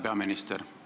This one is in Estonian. Härra peaminister!